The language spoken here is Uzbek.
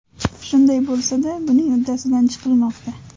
Shunday bo‘lsa-da, buning uddasidan chiqilmoqda.